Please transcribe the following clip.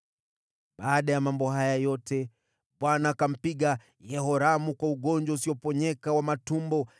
Baada ya mambo haya yote, Bwana akampiga Yehoramu kwa ugonjwa usioponyeka wa matumbo.